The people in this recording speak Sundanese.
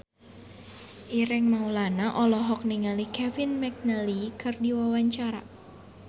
Ireng Maulana olohok ningali Kevin McNally keur diwawancara